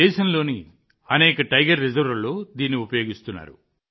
దేశంలోని అనేక టైగర్ రిజర్వ్లలో దీనిని ఉపయోగిస్తున్నారు